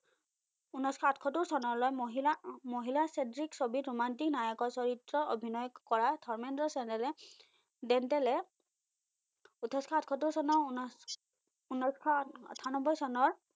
উনৈসশ আঠসত্তোৰ চনলৈ মহিলা মহিলা চেদ্ৰিক ছবিত ৰোমান্তিক নায়কৰ চৰিত্ৰ অভিনয় কৰা ধৰ্মেন্দ্ৰ চেনেলে দেন্তেলে উথৈসশ আঠসত্তোৰ চনৰ উনৈ উনৈসশ আঠান্নবৈ চনৰ